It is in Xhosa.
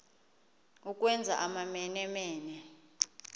ukwenza amamene mene